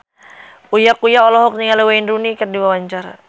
Uya Kuya olohok ningali Wayne Rooney keur diwawancara